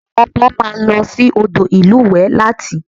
Àwọn ọmọ máa lọ sí odò ìlúwẹ̀ẹ́ láti